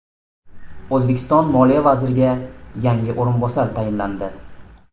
O‘zbekiston moliya vaziriga yangi o‘rinbosar tayinlandi.